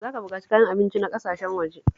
Za ka buƙaci kayan abinci na ƙasashen waje.